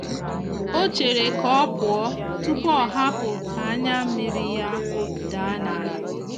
o chere ka ọ pụọ tụpụ ọhapụ ka anya miri ya daa n'ala.